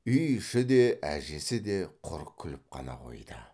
үй іші де әжесі де құр күліп қана қойды